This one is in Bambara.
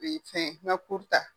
U bi n fɛn n ka kur ta.